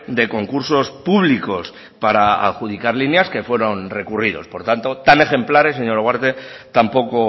de concursos públicos para adjudicar líneas que fueron recurridos por tanto tan ejemplares señora ugarte tampoco